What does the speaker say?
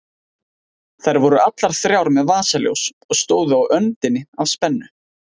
Þær voru allar þrjár með vasaljós og stóðu á öndinni af spennu.